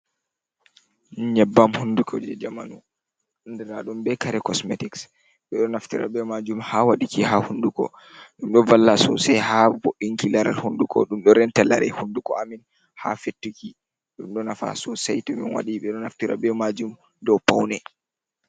Nyebbam hunduko je jamanu andira ɗum be kare kosmetics ɓe ɗo naftira be majum ha waduki ha hunduko ɗum ɗo valla sosai ha bo'inki laral hunduko ɗumɗo renta lare hunduko amin ha fettuki. Ɗumɗo nafa sosai to min wadi ɓe ɗo naftira be majum ɗo paune.